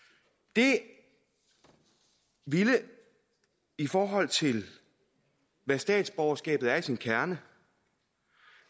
det ville i forhold til hvad statsborgerskabet er i sin kerne